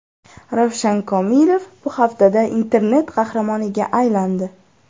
Ravshan Komilov bu haftada internet qahramoniga aylandi.